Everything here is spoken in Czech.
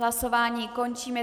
Hlasování končím.